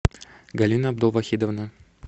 галина абдулвахидовна